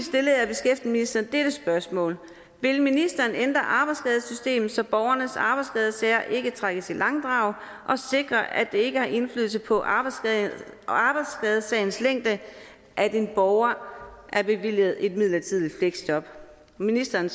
stillede dette spørgsmål vil ministeren ændre arbejdsskadesystemet så borgernes arbejdsskadesager ikke trækkes i langdrag og sikre at det ikke har indflydelse på arbejdsskadesagens længde at en borger er bevilget et midlertidigt fleksjob ministeren